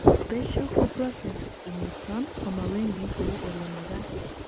besho ko process initon koma wendi kou olemagat